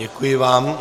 Děkuji vám.